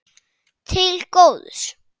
Til góðs.